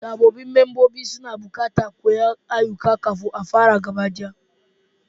Sabbin mambobin suna buƙatar koyan ayyukan kafin a fara gabaɗaya.